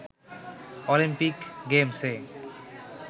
Olympic গেমসে